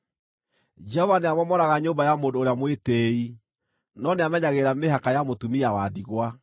Jehova nĩamomoraga nyũmba ya mũndũ ũrĩa mwĩtĩĩi, no nĩamenyagĩrĩra mĩhaka ya mũtumia wa ndigwa.